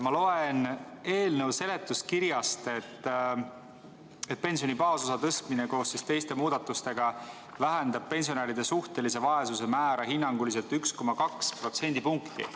Ma loen eelnõu seletuskirjast, et pensioni baasosa tõstmine koos teiste muudatustega vähendab pensionäride suhtelise vaesuse määra hinnanguliselt 1,2% võrra.